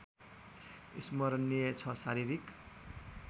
स्मरणिय छ शारीरिक